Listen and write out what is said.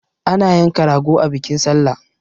Ana yanka rago a bikin sallah